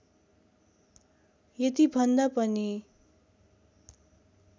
यति भन्दा पनि